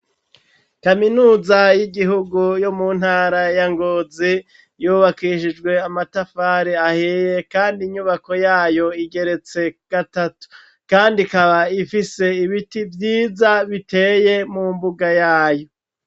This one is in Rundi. Kaminuza y'igihugu yo mu ntara ya Ngozi, yubakishijwe amatafari ahiye kandi inyubako yayo igeretse gatatu, kandi kaba ifise ibiti vyiza biteye mu mbuga yayo.